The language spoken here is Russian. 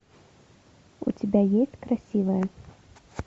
у тебя есть красивая